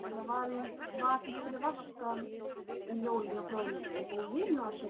Örninn er þó ekki sérstaklega þýskur.